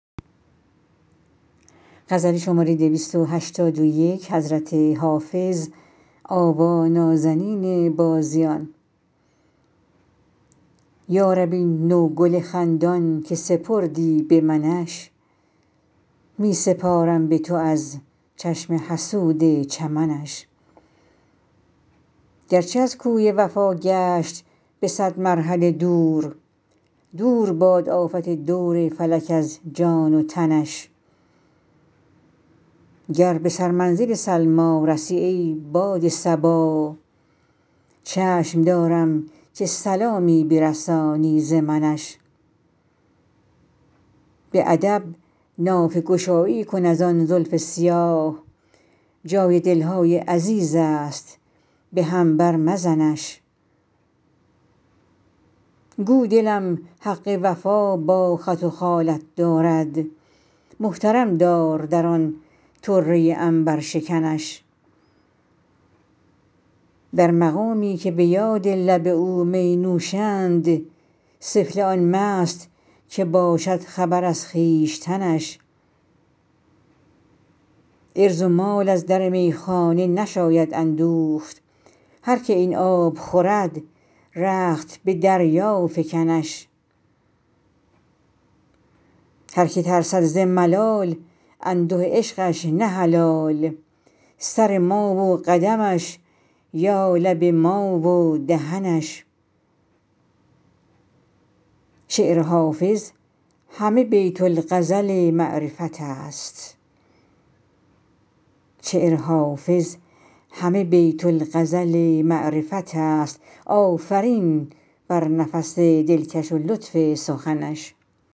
یا رب این نوگل خندان که سپردی به منش می سپارم به تو از چشم حسود چمنش گرچه از کوی وفا گشت به صد مرحله دور دور باد آفت دور فلک از جان و تنش گر به سرمنزل سلمی رسی ای باد صبا چشم دارم که سلامی برسانی ز منش به ادب نافه گشایی کن از آن زلف سیاه جای دل های عزیز است به هم بر مزنش گو دلم حق وفا با خط و خالت دارد محترم دار در آن طره عنبرشکنش در مقامی که به یاد لب او می نوشند سفله آن مست که باشد خبر از خویشتنش عرض و مال از در میخانه نشاید اندوخت هر که این آب خورد رخت به دریا فکنش هر که ترسد ز ملال انده عشقش نه حلال سر ما و قدمش یا لب ما و دهنش شعر حافظ همه بیت الغزل معرفت است آفرین بر نفس دلکش و لطف سخنش